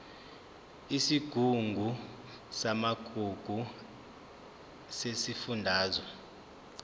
isigungu samagugu sesifundazwe